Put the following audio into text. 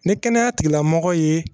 Ni kɛnɛya tigilamɔgɔ ye